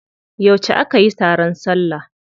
Yauce aka yi taron salla?